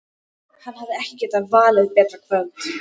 Hann hefði ekki getað valið betra kvöld.